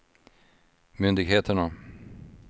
myndigheterna